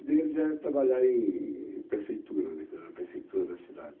Daí eles vieram trabalhar em prefeitura, né, na prefeitura da cidade.